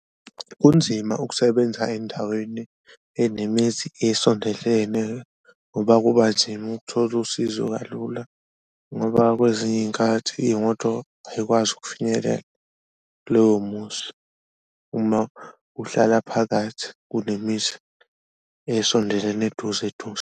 Kunzima ukusebenza endaweni eninemizi esondelene ngoba kuba nzima ukuthola usizo kalula ngoba kwezinye iy'nkathi iyimoto ayikwazi ukufinyelela kuloyo muzi, uma uhlala phakathi kunemizi esondelene eduze eduze.